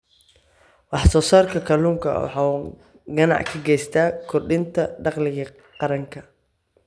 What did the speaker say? Wax-soo-saarka kalluunka waxa uu gacan ka geystaa kordhinta dakhliga qaranka.